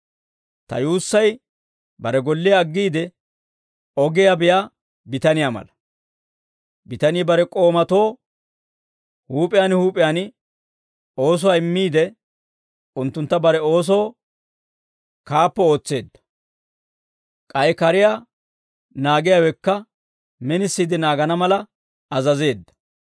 Ta yuussay bare golliyaa aggiide, ogiyaa biyaa bitaniyaa mala; bitanii bare k'oomatoo huup'iyaan huup'iyaan oosuwaa immiide, unttuntta bare oosoo kaappo ootseedda; k'ay kariyaa naagiyaawekka minisiide naagana mala azazeedda.